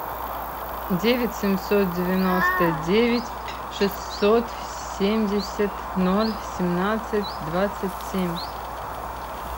девять семьсот девяносто девять шестьсот семьдесят ноль семнадцать двадцать семь